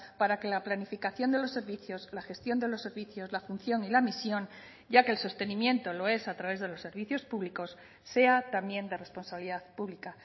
para que la planificación de los servicios la gestión de los servicios la función y la misión ya que el sostenimiento lo es a través de los servicios públicos sea también de responsabilidad pública